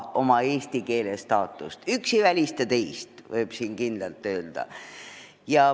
Üks ei välista teist, võib siin kindlalt öelda.